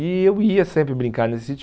E eu ia sempre brincar nesse sítio.